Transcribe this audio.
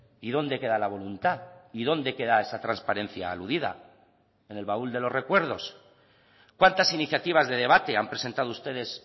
y dónde queda la voluntad y dónde queda esa transparencia aludida en el baúl de los recuerdos cuántas iniciativas de debate han presentado ustedes